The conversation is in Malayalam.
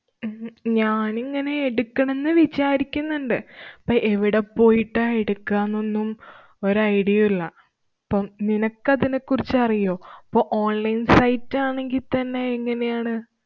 ഉം ഞാനിങ്ങനെ എടുക്കണംന്ന് വിചാരിക്കുന്നുണ്ട്. പ്പ എവിടെ പോയിട്ടാ എടുക്കുകാന്നൊന്നും ഒരു idea യും ഇല്ല. ഇപ്പം നിനക്കതിനെ കുറിച്ചറിയുവോ? പ്പ online site ആണെങ്കിത്തന്നെ എങ്ങനെയാണ്?